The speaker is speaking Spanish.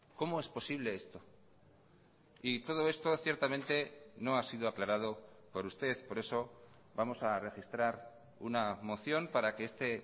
cómo es posible esto y todo esto ciertamente no ha sido aclarado por usted por eso vamos a registrar una moción para que este